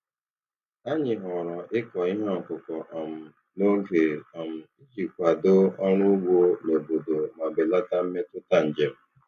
Anyị họọrọ ịkọ ihe ọkụkọ um n'oge um iji kwado ọrụ ugbo n'obodo ma belata mmetụta njem.